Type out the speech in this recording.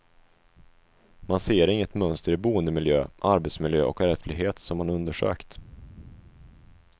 Man ser inget mönster i boendemiljö, arbetsmiljö och ärftlighet som man undersökt.